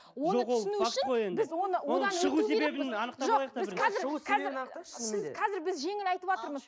қазір біз жеңіл айтыватырмыз